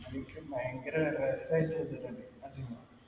എനിക്കും ഭയങ്കര .